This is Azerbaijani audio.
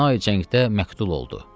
Əsna cəngdə məktub oldu.